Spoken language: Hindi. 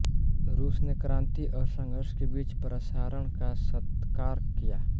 रूस ने क्रांति और संघर्ष के बीच प्रसारण का सत्कार किया